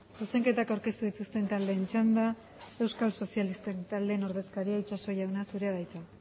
zuzenketak aurkeztu dituzten taldeen txanda euskal sozialisten taldeen ordezkaria itsaso jauna zurea da hitza